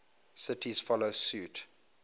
cities follow suit